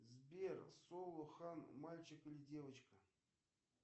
сбер соло хан мальчик или девочка